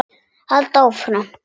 Halda áfram.